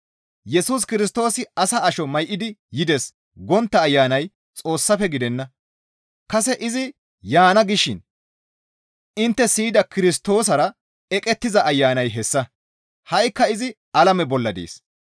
«Yesus Kirstoosi asa asho may7idi yides» gontta ayanay Xoossafe gidenna; kase izi yaana gishin intte siyida Kirstoosara eqettiza ayanay hessa; ha7ikka izi alame bolla dees.